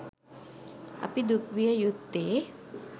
අපි දුක් විය යුත්තේ